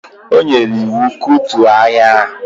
O nyere iwu, kutuo ahịa ahụ!